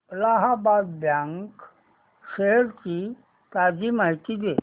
Allahabad bank shares ची ताजी माहिती दे